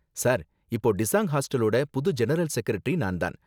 Sir, இப்போ டிஸாங் ஹாஸ்டலோட புது ஜெனரல் செகரெட்டரி நான் தான்.